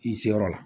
I seyɔrɔ la